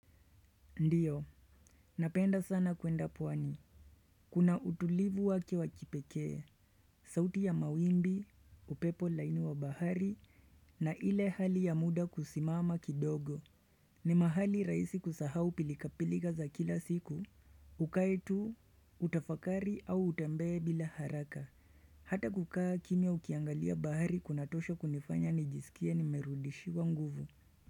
Ndiyo. Napenda sana kuenda pwani. Kuna utulivu wake wakipekee, sauti ya mawimbi, upepo laini wa bahari, na ile hali ya muda kusimama kidogo. Ni mahali rahisi kusahau pilikapilika za kila siku. Ukae tu, utafakari au utembee bila haraka. Hata kukaa kimya ukiangalia bahari kunatosho kunifanya nijisikie nimerudishiwa nguvu.